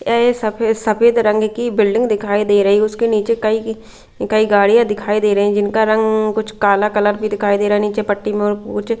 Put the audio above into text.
सफेद सफेद रंग की बिल्डिंग दिखाई दे रही है उसके नीचे कई की कई गाड़ियां दिखाई दे रही हैं जिनका रंग कुछ काला कलर भी दिखाई दे रहा है नीचे पट्टी में और कुछ--